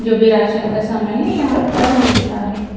जो भी राशन का सामान है यहाँ पर मिलता है।